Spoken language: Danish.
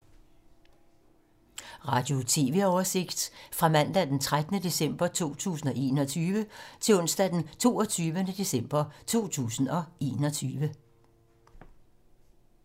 Radio/TV oversigt fra mandag d. 13. december 2021 til onsdag d. 22. december 2021